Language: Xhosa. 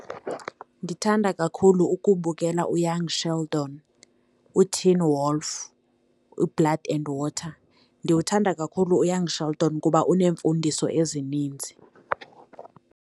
Ndithanda kakhulu ukubukela uYoung Sheldon, uTeen Wolf, uBlood and Water. Ndiwuthanda kakhulu uYoung Sheldon kuba uneemfundiso ezininzi.